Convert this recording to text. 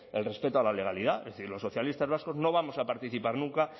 el respeto a la legalidad es decir los socialistas vascos no vamos a participar nunca